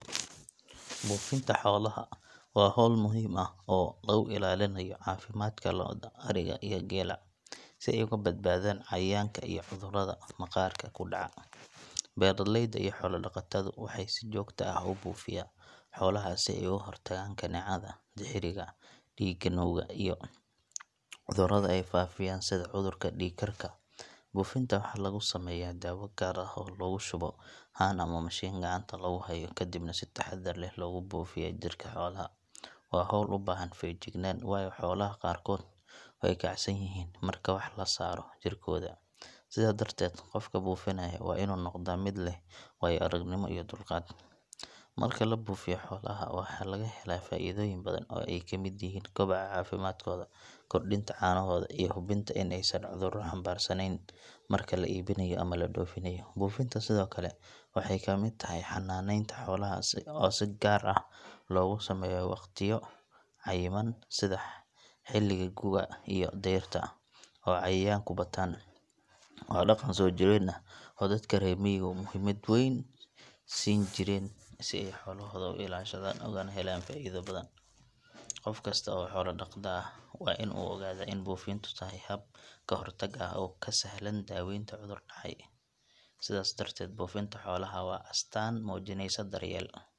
Buufinta xoolaha waa hawl muhiim ah oo lagu ilaalinayo caafimaadka lo’da, ariga iyo geela si ay uga badbaadaan cayayaanka iyo cudurrada maqaarka ku dhaca. Beeraleyda iyo xoolo-dhaqatadu waxay si joogto ah u buufiyaa xoolaha si ay uga hortagaan kaneecada, dixiriga dhiigga nuuga iyo cudurrada ay faafiyaan sida cudurka dhiig karka. Buufinta waxa lagu sameeyaa daawo gaar ah oo lagu shubo haan ama mashiin gacanta lagu hayo kadibna si taxaddar leh loogu buufiyaa jidhka xoolaha. Waa hawl u baahan feejignaan, waayo xoolaha qaarkood way kacsan yihiin marka wax la saaro jirkooda, sidaa darteed qofka buufinaya waa inuu noqdaa mid leh waayo-aragnimo iyo dulqaad. Marka la buufiyo xoolaha waxa laga helaa faa’iidooyin badan oo ay ka mid yihiin kobaca caafimaadkooda, kordhinta caanahooda iyo hubinta in aysan cudurro xambaarsanayn marka la iibinayo ama la dhoofinayo. Buufinta sidoo kale waxay ka mid tahay xanaaneynta xoolaha oo si gaar ah loogu sameeyo waqtiyo cayiman sida xilliga gu’ga iyo dayrta oo cayayaanku bataan. Waa dhaqan soo jireen ah oo dadka reer miyigu muhiimad weyn siin jireen si ay xoolahooda u ilaashadaan ugana helaan faa’iido badan. Qof kasta oo xoolo dhaqda waa in uu ogaadaa in buufintu tahay hab ka hortag ah oo ka sahlan daaweynta cudur dhacay. Sidaas darteed, buufinta xoolaha waa astaan muujinaysa daryeel.